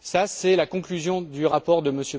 C'est la conclusion du rapport de M.